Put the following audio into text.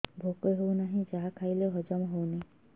ଭୋକ ହେଉନାହିଁ ଯାହା ଖାଇଲେ ହଜମ ହଉନି